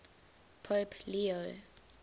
pope leo